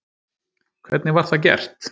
Hvernig var það gert?